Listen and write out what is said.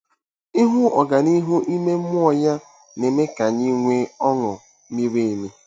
Ịhụ ọganihu ime mmụọ ya na-eme ka anyị nwee ọṅụ miri emi.